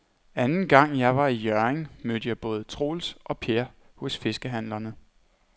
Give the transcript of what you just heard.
Anden gang jeg var i Hjørring, mødte jeg både Troels og Per hos fiskehandlerne.